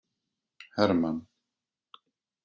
Hermann